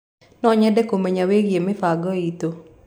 No nyende kũmenya wĩgie mĩbango itũ.